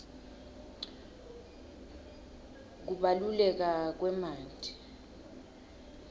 kubaluleka kwemanti